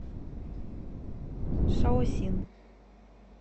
шаосин